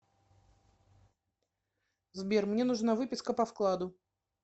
сбер мне нужна выписка по вкладу